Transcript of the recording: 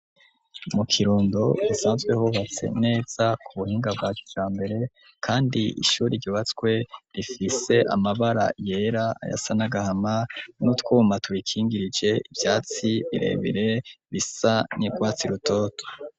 Mu Kirundo hasanzwe hubatse neza ku buhinga bwa kijambere, kandi ishuri ryubatswe rifise amabara yera ayasa n'agahama n'utwuma turikingirije, ivyatsi birebire bisa n'urwatsi rutoto.